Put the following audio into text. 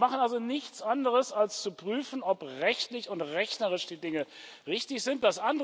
Wir machen also nichts anderes als zu prüfen, ob rechtlich und rechnerisch die Dinge richtig sind.